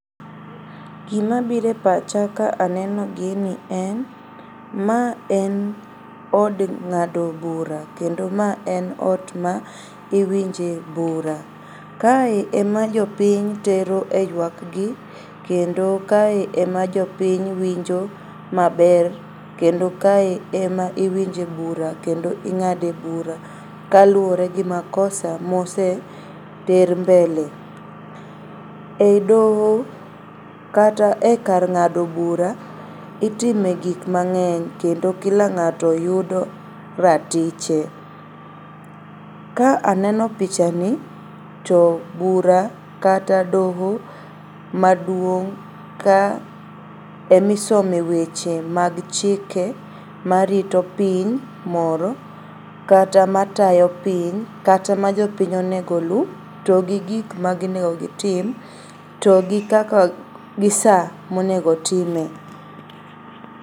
Gimabire pacha ka aneno gini en ma en od ng'ado bura kendo ma en ot ma iwinje bura. Kae ema jopiny tero e yuakgi kendo kae ema jopiny winjo maber kendo kae ema iwinje bura kendo ing'ade bura kaluore gi makosa moseter mbele.E doho kata e kar ng'ado bura itime gik mang'eny kendo kila ng'ato yudo ratiche. Ka aneno pichani to bura kata doho maduong' ka emisome weche mag chike marito piny moro kata matayo piny kata ma jopiny onego oluu to gi gik monego gitim, to gi kaka, gi saa monego otime.